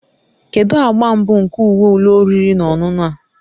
Kedu agba mbụ nke uwe ụlọ oriri na ọṅụṅụ a?